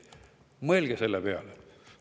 Mõelge selle peale!